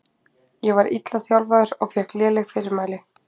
Ég var illa þjálfaður og fékk léleg fyrirmæli.